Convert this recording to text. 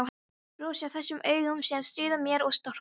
Brosi að þessum augum sem stríða mér og storka.